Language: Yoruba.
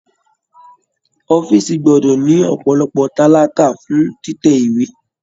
Ọ̀fiísí gbọdọ ní ọpọlọpọ talakà fún títẹ̀ ìwé.